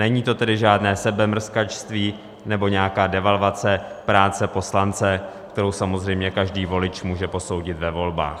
Není to tedy žádné sebemrskačství nebo nějaká devalvace práce poslance, kterou samozřejmě každý volič může posoudit ve volbách.